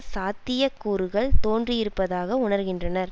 சாத்திய கூறுகள் தோன்றியிருப்பதாக உணர்கின்றனர்